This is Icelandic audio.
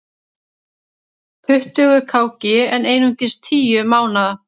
Tuttugu kg en einungis tíu mánaða